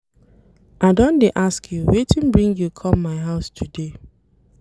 I don dey ask you wetin bring you come my house today.